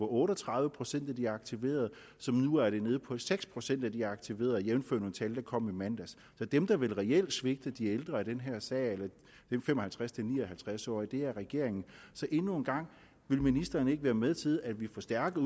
otte og tredive procent af de aktiverede nu er nede på seks procent af de aktiverede jævnfør nogle tal der kom i mandags så dem der vel reelt svigter de ældre i den her sag eller de fem og halvtreds til ni og halvtreds årige er regeringen endnu en gang vil ministeren ikke være med til at vi forstærker